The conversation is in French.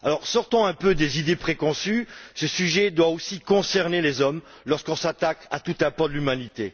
Sortons un peu des idées préconçues ce sujet doit aussi concerner les hommes, lorsqu'on s'attaque à tout un pan de l'humanité.